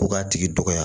Ko k'a tigi dɔgɔya